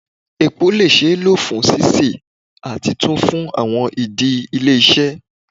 Epo le ṣee lo fun sise ati tun fun awọn idi ile-iṣẹ